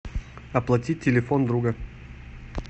оплатить телефон друга